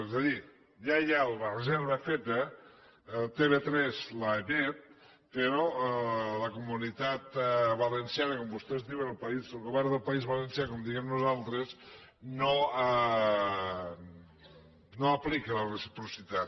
és a dir ja hi ha la reserva feta tv3 l’emet però la comunitat valenciana com vostès diuen el govern del país valencià com diem nosaltres no aplica la reciprocitat